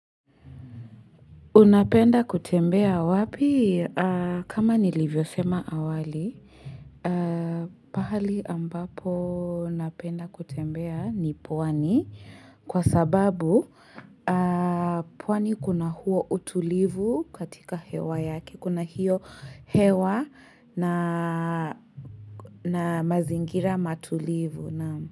Unapenda kutembea wapi? Kama nilivyo sema awali, pahali ambapo napenda kutembea ni puwani kwa sababu pwani kuna huo utulivu katika hewa yaki. Kuna hiyo hewa na mazingira matulivu.